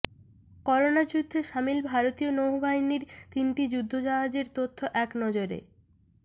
corona যুদ্ধে সামিল ভারতীয় নৌবাহিনীর তিনটি যুদ্ধজাহাজের তথ্য একনজরে